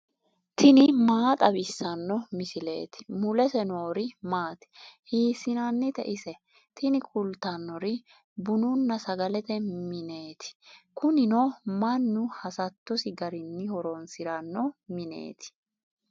tini maa xawissanno misileeti ? mulese noori maati ? hiissinannite ise ? tini kultannori bununna sagalete mineeti. kunino mannu hasattosi garinni horoonsiranno mineeti.